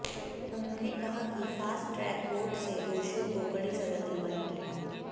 उन्होंने कहा कि फास्ट ट्रैक कोर्ट से दोषियों को कड़ी सजा दिलवायेंगे